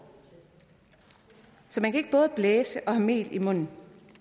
så man kan ikke både blæse og have mel i munden